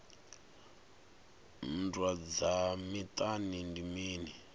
nndwa dza miṱani ndi mini